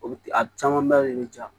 O a caman ba de bɛ ja